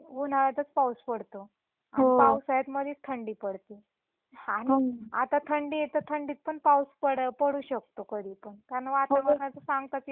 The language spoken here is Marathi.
आणि पाऊसाळ्यात मधीच थंडी पडती आता थंडीये तर थंडीत पण पाऊस पडू शकतो कारण वतावरणाच सांगताच येत नाही कधी ही काही ही होत.